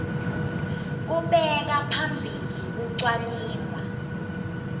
kubeka phambili kucwaningwa